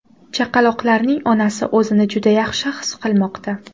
Chaqaloqlarning onasi o‘zini juda yaxshi his qilmoqda.